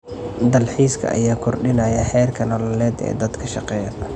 Dalxiiska ayaa kordhinaya heerka nololeed ee dadka shaqeeya.